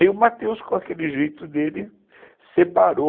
Aí o Matheus, com aquele jeito dele, separou